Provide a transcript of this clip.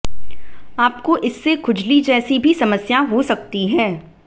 आपको इससे खुजली जैसी भी समस्या हो सकती है